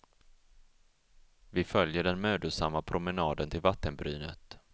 Vi följer den mödosamma promenaden till vattenbrynet.